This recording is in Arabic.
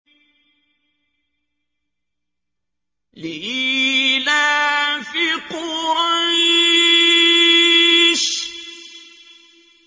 لِإِيلَافِ قُرَيْشٍ